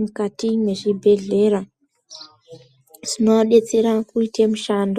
mukati mwezvibhehlera zvinovadetsera kuite mishando.